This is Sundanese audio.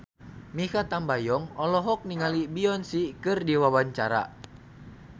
Mikha Tambayong olohok ningali Beyonce keur diwawancara